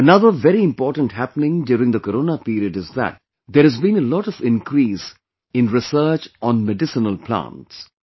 Another very important happening during the corona period is that, there has been a lot of increase in research on medicinal plants